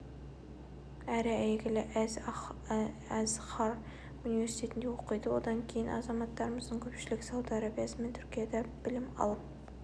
әрі әйгілі әл-азһар университетінде оқиды одан кейін азаматтарымыздың көпшілігі сауд арабиясы мен түркияда білім алып